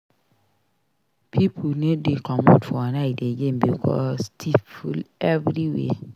Pipo no dey comot for night again because tiff full everywhere.